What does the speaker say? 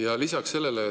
Ja lisaks sellele: